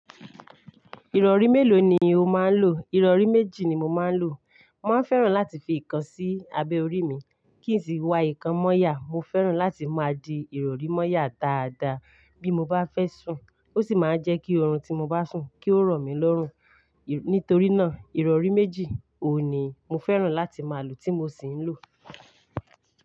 Ìrọ̀rí mélòó ni o máa ń lò? Ìrọ̀rí méjì ni mo máa ń lò. Mo máa ń fẹ́ràn láti fi ìkan sí abẹ́ orí mi, kí n sì wa ìkan moyà. Mo fẹ́ràn láti máa di ìrọ̀rí mọ́yà dáadáa bí mo bá fẹ́ sùn. Ó sì máa ń jẹ́ kí orun tí mo bá sùn, kí ó rọ̀ mí lọ́rùn. Nítorí náà, ìrọ̀rí méjì òní mo fẹ́ràn láti máa lò, tí mo sì ń lò.